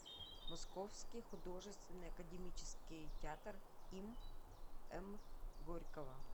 московский художественный академический театр им м горького